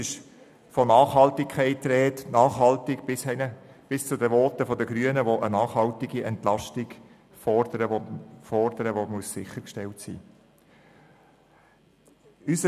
Von Nachhaltigkeit ist die Rede – bis zu den Voten der Grünen, die fordern, dass eine nachhaltige Entlastung sichergestellt sein muss.